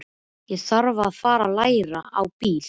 Þá þarf ég að fara að læra á bíl.